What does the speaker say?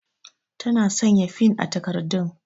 Ta na sanya fin a takardun